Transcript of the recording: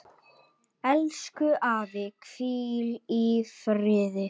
Elsku afi, hvíl í friði.